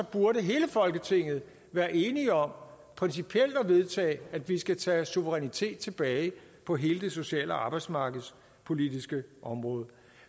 burde hele folketinget være enige om principielt at vedtage at vi skal tage suverænitet tilbage på hele det sociale og arbejdsmarkedspolitiske område